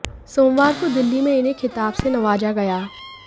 सोमवार को दिल्ली में इन्हें खिताब से नवाजा गया